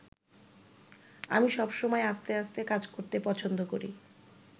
আমি সবসময় আস্তে আস্তে কাজ করতে পছন্দ করি।